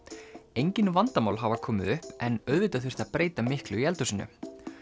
engir vandamál hafi komið upp en auðvitað þurfti að breyta miklu í eldhúsinu